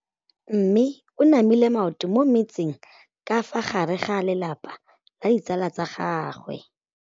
Mme o namile maoto mo mmetseng ka fa gare ga lelapa le ditsala tsa gagwe.